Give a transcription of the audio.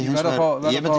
verð að